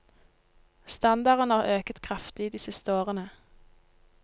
Standarden har øket kraftig de siste årene.